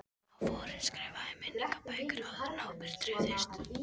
Á vorin var skrifað í minningabækur áður en hópurinn dreifðist.